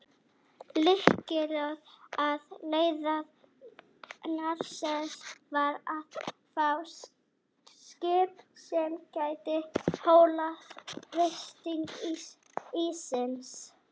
Lykillinn að leiðangri Nansens var að fá skip sem gæti þolað þrýsting íssins.